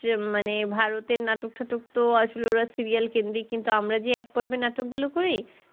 দেশ মানে ভারতের নাটক টাটক তো আসলেই ওরা আসলেই serial কেন্দ্রেই কিন্তু আমরা যে এক পর্বে নাটক গুলো করি